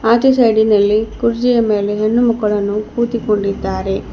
ಆಚೆ ಸೈಡಿನಲ್ಲಿ ಕುರ್ಚಿಯ ಮೇಲೆ ಹೆಣ್ಣು ಮಕ್ಕಳನ್ನು ಕೂತುಕೊಂಡಿದ್ದಾರೆ.